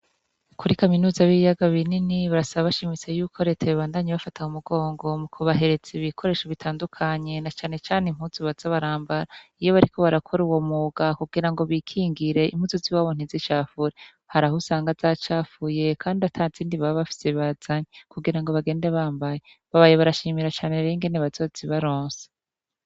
Kuri kaminuza y'ibiyaga binini barasaba bashimitse yuko reta yobandanya ibafata mu mugongo mu kubahereza ibikoresho bitandukanye na canecane impuzu baza barambara iyo bariko barakora uwo mwuga kugira ngo bikingire impuzu ziwabo ntizicafure, haraho usanga zacafuye kandi ata zindi baba bafise bazanye kugira ngo bagende bambaye, babaye barashimira cane rero ingene bazozibaronsa.